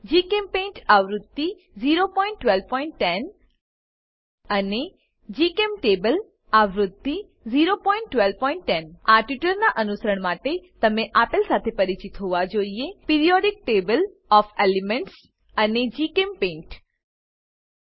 જીચેમ્પેઇન્ટ આવૃત્તિ 01210 અને જીચેમ્ટેબલ આવૃત્તિ 01210 આ ટ્યુટોરીયલનાં અનુસરણ માટે તમે આપેલ સાથે પરિચિત હોવા જોઈએ પીરિયોડિક ટેબલ ઓએફ એલિમેન્ટ્સ એલીમેન્ટોનાં સામયિક ટેબલ અને જીચેમ્પેઇન્ટ